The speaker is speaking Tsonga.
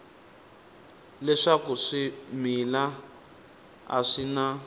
leswaku swimila a swi na